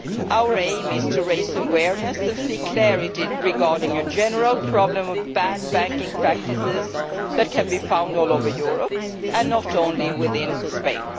Our aim is to raise awareness and seek clarity regarding a general problem of bad banking practices that can be found all over Europe, not only within Spain.